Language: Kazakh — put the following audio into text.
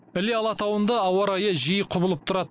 іле алатауында ауа райы жиі құбылып тұрады